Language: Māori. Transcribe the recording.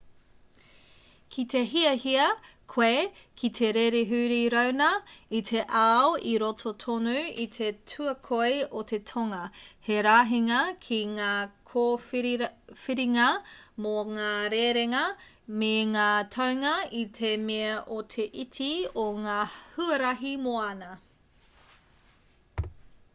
kite hiahia koe ki te rere huri rauna i te ao i roto tonu i te tuakoi o te tonga he rahinga ki ngā kōwhiringa mō ngā rerenga me ngā taunga i te mea o te iti o ngā huarahi moana